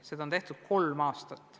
Seda on tehtud kolm aastat.